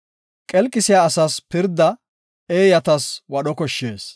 Qelqisiya asas pirda eeyatas wadho koshshees.